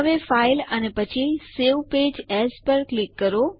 હવે ફાઇલ અને પછી સવે પેજ એએસ પર ક્લિક કરો